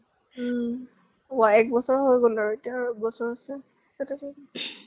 উম। হোৱা এক বছৰ হৈ গল আৰু এতিয়া আৰু এক বছৰ আছে।